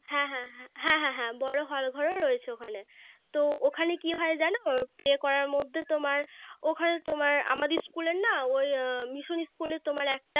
হ্যাঁ হ্যাঁ হ্যাঁ হ্যাঁ হ্যাঁ হ্যাঁ বড়ো Hall ঘর ও রয়েছে ওখানে তো ওখানে কি হয় জানো Pray করার মধ্যে তোমার ওখানে তোমার আমাদের School এর না ওই Mission School এ তোমার একটা